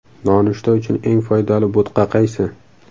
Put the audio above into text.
Nonushta uchun eng foydali bo‘tqa qaysi?.